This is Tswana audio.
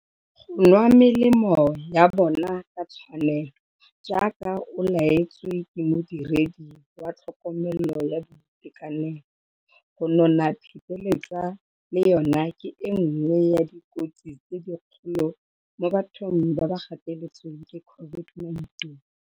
Go nwa melemo ya bona ka tshwanelo, jaaka o laetswe ke modiredi wa tlhokomelo ya boitekanelo. Go nona pheteletsa le yona ke e nngwe ya dikotsi tse dikgolo mo bathong ba ba gateletsweng ke COVID-19.